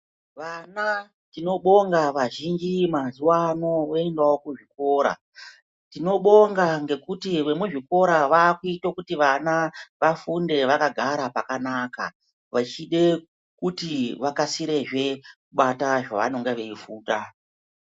Vana tinobonga vazhinji mazuva ano vakuendavo kuzvikora. Tinobonga ngekuti vemuzvikora vakuite kuti vana vafunde vakagara pakanaka. Vachide kuti vakasirezve kubata zvavanenge veifunda.